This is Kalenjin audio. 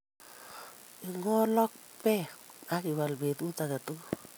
Ing'ol ak peek ak iwal peetuut age tugul.